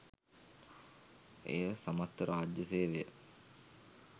එය සමස්ත රාජ්‍ය සේවය